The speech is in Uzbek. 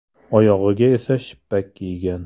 Oyog‘iga esa shippak kiygan.